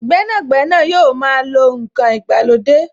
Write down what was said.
Gbẹ́nàgbẹ́nà yóò máa lo n kan ìgbàlódé